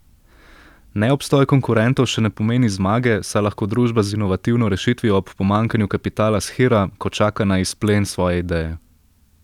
Neobstoj konkurentov še ne pomeni zmage, saj lahko družba z inovativno rešitvijo ob pomanjkanju kapitala shira, ko čaka na izplen svoje ideje.